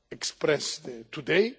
have expressed today.